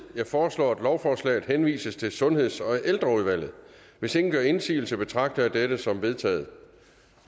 jeg foreslår at lovforslaget henvises til sundheds og ældreudvalget hvis ingen gør indsigelse betragter jeg det som vedtaget